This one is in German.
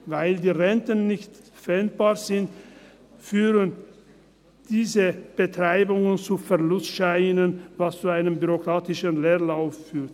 Weil die Renten nicht pfändbar sind, führen diese Betreibungen zu Verlustscheinen, was zu einem bürokratischen Leerlauf führt.